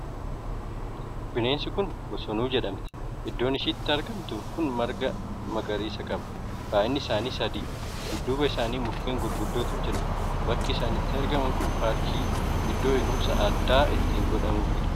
Bineensi kun Bosonuu jedhamti. iddoon isheen itti argamtu kun marga magariisa qaba. Baay'inni isaanii sadii. Dudduuba isaanii mukkeen gurguddootu jira. Bakki isaan itti argaman kun paarkii, iddoo eguumsi addaa itti godhamuufidha.